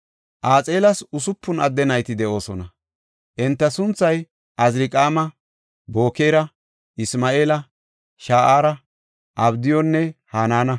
Axeelas usupun adde nayti de7oosona. Enta sunthay Azirqaama, Bokeera, Isma7eela, Sha7aara, Abdiyunne Hanaana.